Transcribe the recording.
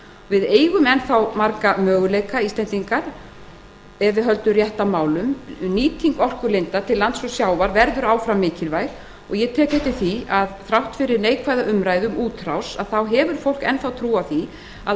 við eigum enn þá marga möguleika íslendingar ef við höldum rétt á málum nýting orkulinda til lands og sjávar verður áfram mikilvæg ég tek eftir því að þrátt fyrir neikvæða umræðu um útrás hefur fólk enn trú á því að